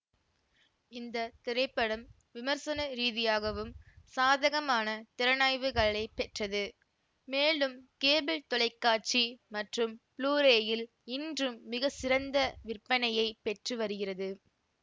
இந்த திரைப்படம் விமர்சன ரீதியாகவும் சாதகமான திறனாய்வுகளைப் பெற்றது மேலும் கேபிள் தொலைக்காட்சி மற்றும் ப்ளூரேயில் இன்றும் மிகச்சிறந்த விற்பனையைப் பெற்று வருகிறது